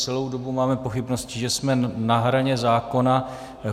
Celou dobu máme pochybnosti, že jsme na hraně zákona.